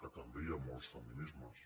que també hi ha molts feminismes